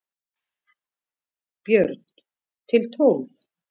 Björn: Til tólf?